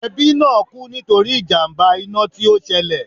Ẹbí náà kú nítorí ìjàmbá iná tí ó ṣẹlẹ̀